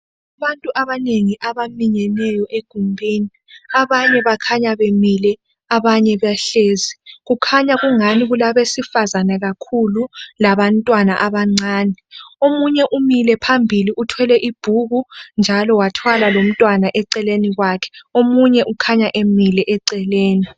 Abantu abanengi abaminyeneyo egumbini. Abanye bakhanya bemile abanye bahlezi. Kulabesifazana kakhulu labantwana abancane. Omunye umile phambili uthwele ubhuku lomntwana eceleni omunye ukhanya emile njalo eceleni.